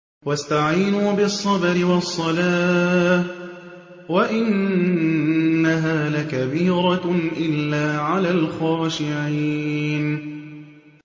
وَاسْتَعِينُوا بِالصَّبْرِ وَالصَّلَاةِ ۚ وَإِنَّهَا لَكَبِيرَةٌ إِلَّا عَلَى الْخَاشِعِينَ